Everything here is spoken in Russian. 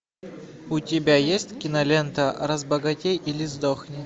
у тебя есть кинолента разбогатей или сдохни